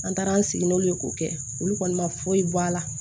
An taara an sigi n'olu ye k'o kɛ olu kɔni ma foyi bɔ a la